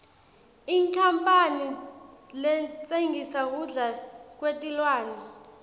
inkhampane letsengisa kudla kwetilwane